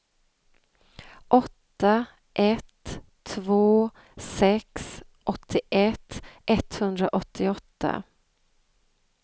åtta ett två sex åttioett etthundraåttioåtta